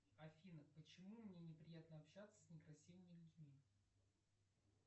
афина почему мне неприятно общаться с некрасивыми людьми